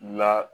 La